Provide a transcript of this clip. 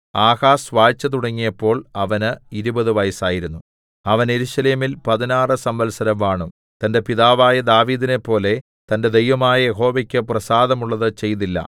Ahaz വാഴ്ച തുടങ്ങിയപ്പോൾ അവന് ഇരുപത് വയസ്സായിരുന്നു അവൻ യെരൂശലേമിൽ പതിനാറ് സംവത്സരം വാണു തന്റെ പിതാവായ ദാവീദിനെപ്പോലെ തന്റെ ദൈവമായ യഹോവയ്ക്ക് പ്രസാദമുള്ളത് ചെയ്തില്ല